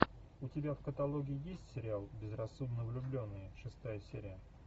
у тебя в каталоге есть сериал безрассудно влюбленные шестая серия